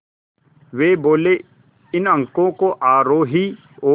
वे बोले इन अंकों को आरोही और